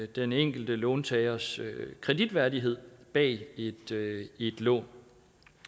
den enkelte låntagers kreditværdighed bag et lån